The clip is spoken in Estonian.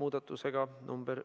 Muudatusettepanek nr